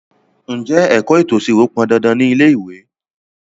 Ǹjẹ́ ẹ̀kọ́ ètò ìṣirò pọn dandan ni ilé ìwé?